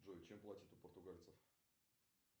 джой чем платят у португальцев